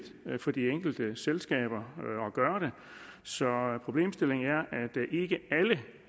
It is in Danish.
for de enkelte selskaber at gøre det så problemstillingen er